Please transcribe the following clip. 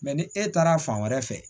ni e taara fan wɛrɛ fɛ